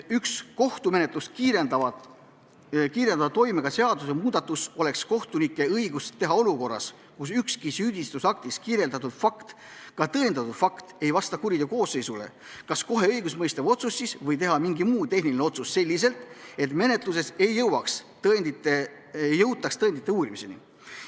Üks kohtumenetlust kiirendava toimega seadusemuudatus oleks kohtunike õigus teha olukorras, kus ükski süüdistusaktis kirjas olev fakt, ka tõendatud fakt, ei vasta kuriteokoosseisule, kas kohe õigustmõistev otsus või teha mingi muu tehniline otsus selliselt, et menetluses ei jõutaks tõendite uurimiseni.